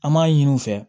An m'a ɲini u fɛ